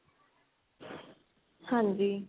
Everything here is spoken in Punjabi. ਹਾਂਜੀ